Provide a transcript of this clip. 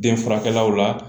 Den furakɛkɛlaw la